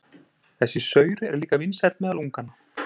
Þessi saur er líka vinsæll meðal unganna.